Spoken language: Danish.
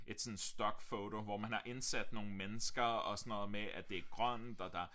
Et sådan stock photo hvor man har indsat nogle mennesker og sådan noget med at det er grønt og der